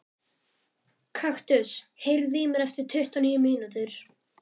Kaktus, heyrðu í mér eftir tuttugu og níu mínútur.